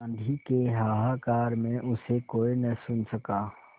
आँधी के हाहाकार में उसे कोई न सुन सका